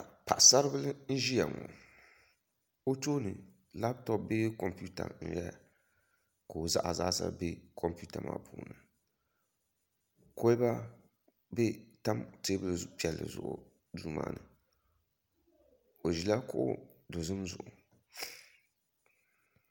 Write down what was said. Paɣasaribili n ʒiya ŋo o tooni labtop bee kompiuta n ʒɛya ka o zaɣa zaasa bɛ kompiuta maa puuni kolba n tam teebuli piɛlli zuɣu duu maa ni o ʒila kuɣu dozim zuɣu